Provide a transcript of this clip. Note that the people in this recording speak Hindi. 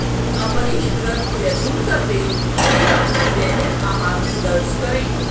अपरिष्कृत जैतून का तेल के अपने दैनिक आहार में दर्ज करें